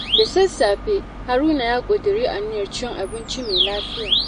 Da sassafe, Haruna ya ƙudiri aniyar cin abinci mai lafiya.